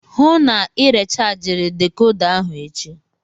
Hụụ na Ị rechajiri dekoda ahụ echi!